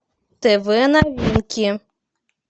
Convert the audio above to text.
тв новинки